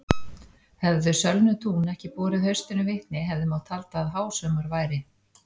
Hefðu sölnuð tún ekki borið haustinu vitni hefði mátt halda að hásumar væri.